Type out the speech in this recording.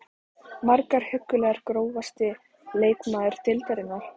Margar huggulegar Grófasti leikmaður deildarinnar?